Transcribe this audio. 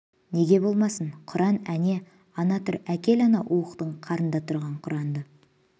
неге болмасын құран әне ана тұр әкел анау уықтың қарында тұрған құранды